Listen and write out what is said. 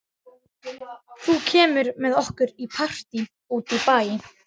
Þú kemur með okkur í partí út í bæ.